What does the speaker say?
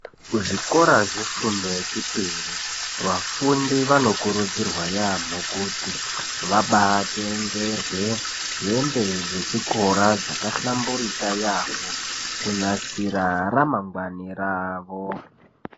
Kuzvikora zvefundo yechipiri vafundi vanokurudzirwa yaambo kuti vabaatengerwe hembe dzechikora dzakahlamburika yaamho kunasira ramangwani ravo.